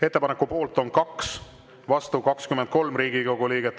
Ettepaneku poolt on 2, vastu 23 Riigikogu liiget.